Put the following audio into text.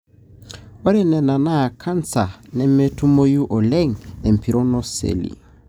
ore ena na canser nemetumoyu oleng empiron oseli.